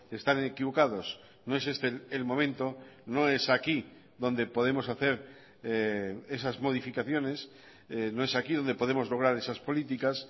están equivocados no es este el momento no es aquí donde podemos hacer esas modificaciones no es aquí donde podemos lograr esas políticas